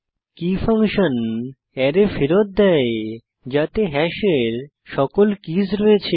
কে function array ফেরত দেয় যাতে হ্যাশের সকল কীস রয়েছে